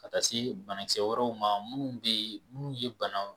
Ka taa se bana kisɛ wɛrɛ ma munnu be yen munnu ye banaw